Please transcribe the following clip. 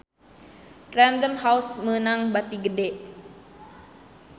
Random House meunang bati gede